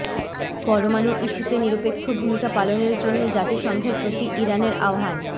পরমাণু ইস্যুতে নিরপেক্ষ ভূমিকা পালনের জন্য জাতিসংঘের প্রতি ইরানের আহ্বান